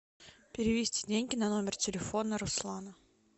перевести деньги на номер телефона руслана